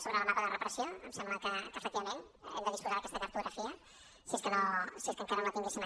sobre el mapa de repressió em sembla que efectivament hem de disposar d’aquesta cartografia si és que encara no la tinguéssim